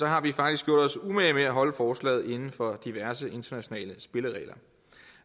har vi faktisk gjort os umage med at holde forslaget inden for diverse internationale spilleregler